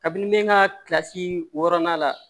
Kabini ne ka kilasi wɔɔrɔnan la